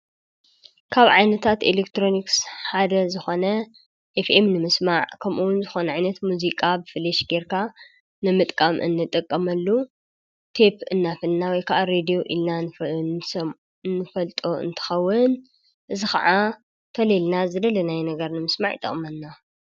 ካብ ዓይነታት ኤሌክትሮንክስ ሓደ ዝኾነ ኤፍኤም ንምስማዕ ከምኡውን ዝኾነ ዒይነት ሙዚቃ ብፈልሽ ጌርካ ንምጥቃም እንጠቀመሉ ቴብ እናፈልናዊ ከዓ ሬዴዩ ኢልናን እንፈልጦ እንተኸውን እዝ ኸዓ ተልልና ዝደለናይ ነገር ንምስማዕ ይጠቕመና።